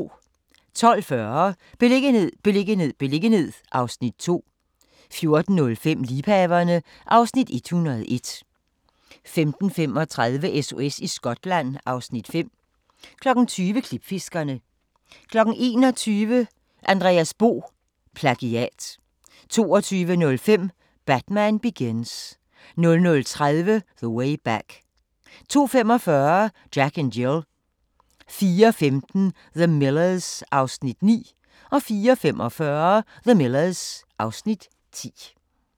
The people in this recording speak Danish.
12:40: Beliggenhed, beliggenhed, beliggenhed (Afs. 5) 14:05: Liebhaverne (Afs. 101) 15:35: SOS i Skotland (Afs. 5) 20:00: Klipfiskerne 21:00: Andreas Bo – PLAGIAT 22:05: Batman Begins 00:30: The Way Back 02:45: Jack and Jill 04:15: The Millers (Afs. 9) 04:45: The Millers (Afs. 10)